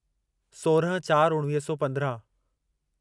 सोराहं चारि उणिवीह सौ पंद्राहं